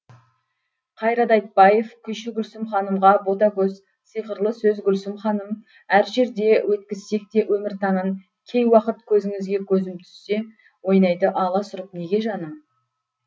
қайрат айтбаев күйші гүлсім ханымға бота көз сиқырлы сөз гүлсім ханым әр жерде өткізсек те өмір таңын кей уақыт көзіңізге көзім түссе ойнайды аласұрып неге жаным